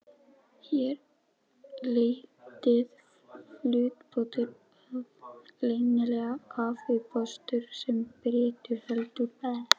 Hér leitaði flugbáturinn að leynilegum kafbátastöðvum, sem Bretar héldu að